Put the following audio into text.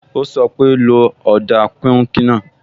Ó sọ pé, "lo ọ̀dà píùnkì náà"